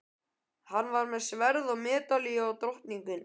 Hann var með sverð og medalíu og drottningu.